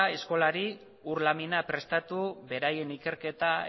eskolari ur lamina prestatu beraien ikerketa